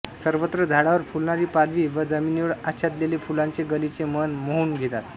सर्वत्र झाडावर फुलणारी पालवी व जमीनीवर आच्छादलेले फुलांचे गालिचे मन मोहून घेतात